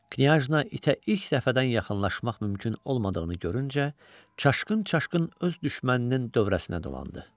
Knyajna itə ilk dəfədən yaxınlaşmaq mümkün olmadığını görüncə, çaşqın-çaşqın öz düşməninin dövrəsinə dolandı.